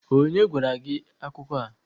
onye gwara gi akuko a?